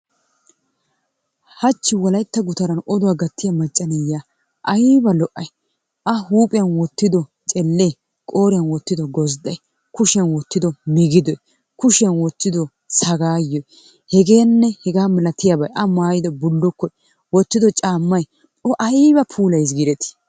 Hachchi wolaytta gutaan odduwa gattiya macca na'iya aybba lo'ay? A huuphiyan wottido celee, qooriyan wottido gozday, kushiyan wottido migiddoy, kushiyan wottido sagaayoy hegeenne hegaa malatiyabay A maayido bullukkoy wotiddo caamay O aybba puulayis giidetii?